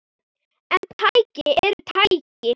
En tæki eru tæki.